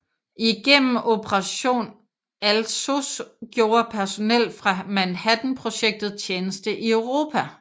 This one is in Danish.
Igennem Operation Alsos gjorde personel fra Manhattanprojektet tjeneste i Europa